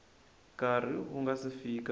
nkarhi wu nga si fika